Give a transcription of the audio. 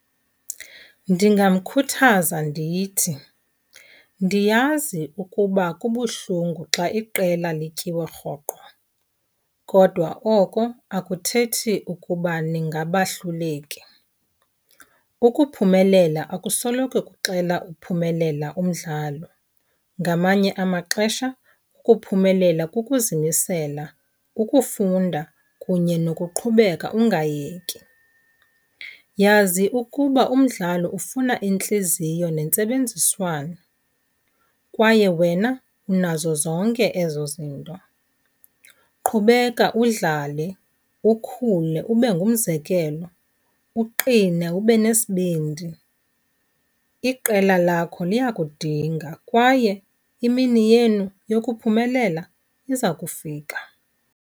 Ndingamkhuthaza ndithi, ndiyazi ukuba kubuhlungu xa iqela lityiwa rhoqo, kodwa oko akuthethi ukuba ndingabahluleki. Ukuphumelela akusoloko kuxelela uphumelela umdlalo. Ngamanye amaxesha ukuphumelela kukuzimisela, ukufunda kunye nokuqhubeka ungayeki. Yazi ukuba umdlalo ufuna intliziyo nentsebenziswano kwaye wena unazo zonke ezo zinto. Qhubeka udlale, ukhule ube ngumzekelo, uqine, ube nesibindi. Iqela lakho liyakudinga kwaye imini yenu yokuphumelela iza kufika.